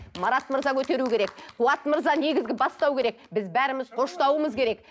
марат мырза көтеру керек қуат мырза негізгі бастау керек біз бәріміз қоштауымыз керек